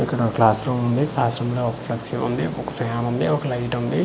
ఇక్కడ class room ఉంది class room లో ఒక ఫ్లెక్సీ ఉంది ఒక ప్యాన్ ఉంది ఒక లైట్ ఉంది.